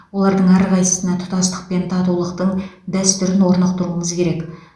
олардың әрқайсысына тұтастық пен татулықтың дәстүрін орнықтыруымыз керек